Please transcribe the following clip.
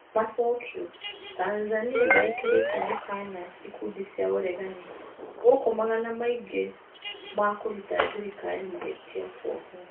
Macokio, Tanzania nĩ ĩkĩrĩte mũkana ikundi cia ũregani gũkũmagana maingĩ makũruta thirikari mahĩtia kwohwo.